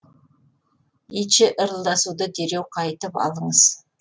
итше ырылдасуды дереу қайтып алыңыз